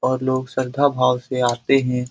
और लोग श्रद्धा भाव से आते हैं।